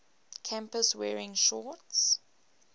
campus wearing shorts